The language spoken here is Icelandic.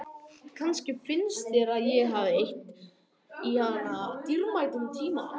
Kannski finnst þér að ég hafi eytt í hana dýrmætum tíma.